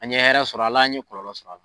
An ye hɛrɛ sɔrɔ ala an ye kɔlɔlɔ sɔrɔ ala